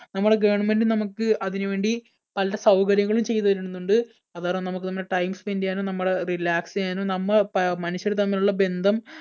നമ്മുടെ government നമുക്ക് അതിനുവേണ്ടി പല സൗകര്യങ്ങളും ചെയ്തുതരുന്നുണ്ട്. അതുകാരണം നമുക്ക് നമ്മുടെ time spend ചെയ്യാനും നമ്മള് relax ചെയ്യാനും നമ്മ പ മനുഷ്യർ തമ്മിലുള്ള ബന്ധം